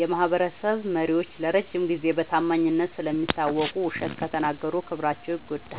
የማህበረሰብ መሪዎች ለረጅም ጊዜ በታማኝነት ስለሚታወቁ፣ ውሸት ከተናገሩ ክብራቸው ይጎዳል።